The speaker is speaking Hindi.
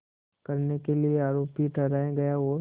करने के लिए आरोपी ठहराया गया और